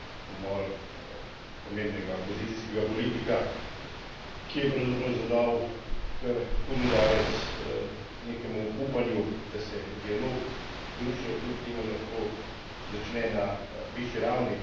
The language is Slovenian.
Umor pomembnega opozicijskega politika, ki je pravzaprav zadal kar hud udarec nekemu upanju, da se dialog z Rusijo kljub temu lahko začne na višji ravni.